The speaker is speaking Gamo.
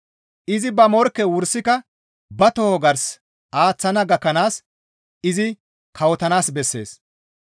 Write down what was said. Izi ba morkke wursika ba toho gars aaththana gakkanaas izi kawotanaas bessees.